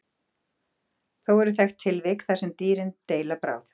Þó eru þekkt tilvik þar sem dýrin deila bráð.